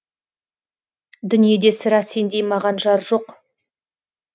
дүниеде сірә сендей маған жар жоқ